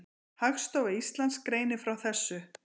Hagstofa Íslands greinir frá þessu.